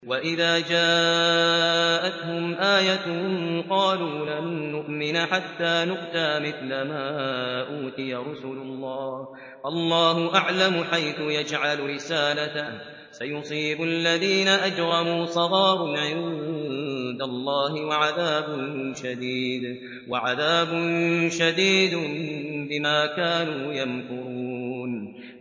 وَإِذَا جَاءَتْهُمْ آيَةٌ قَالُوا لَن نُّؤْمِنَ حَتَّىٰ نُؤْتَىٰ مِثْلَ مَا أُوتِيَ رُسُلُ اللَّهِ ۘ اللَّهُ أَعْلَمُ حَيْثُ يَجْعَلُ رِسَالَتَهُ ۗ سَيُصِيبُ الَّذِينَ أَجْرَمُوا صَغَارٌ عِندَ اللَّهِ وَعَذَابٌ شَدِيدٌ بِمَا كَانُوا يَمْكُرُونَ